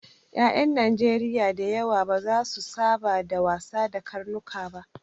Ƴaƴan Najeriya da yawa ba za su saba da wasa da karnuka ba.